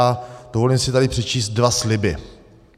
A dovolím si tady přečíst dva sliby.